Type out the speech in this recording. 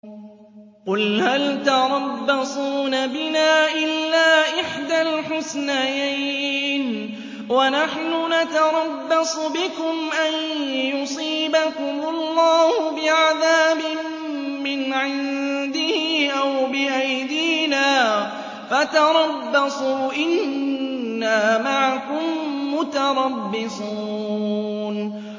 قُلْ هَلْ تَرَبَّصُونَ بِنَا إِلَّا إِحْدَى الْحُسْنَيَيْنِ ۖ وَنَحْنُ نَتَرَبَّصُ بِكُمْ أَن يُصِيبَكُمُ اللَّهُ بِعَذَابٍ مِّنْ عِندِهِ أَوْ بِأَيْدِينَا ۖ فَتَرَبَّصُوا إِنَّا مَعَكُم مُّتَرَبِّصُونَ